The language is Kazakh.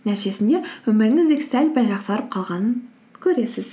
нәтижесінде өміріңіз де сәл пәл жақсарып қалғанын көресіз